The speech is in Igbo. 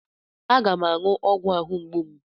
Aga m aṅụ ogwu ahụ mgbu m.